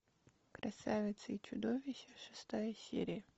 красавица и чудовище шестая серия